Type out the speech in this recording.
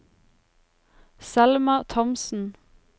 Selma Thomsen